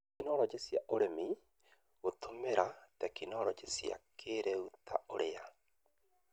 Tekinoronjĩ cia ũrĩmi: Gũtũmĩra tekinoronjĩ cia kĩrĩu ta ũrĩa